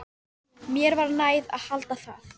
Mér var nær að halda það.